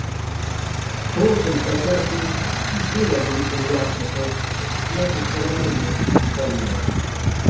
впрочем хотя ей и было бы приятно это услышать она бы всё равно не поверила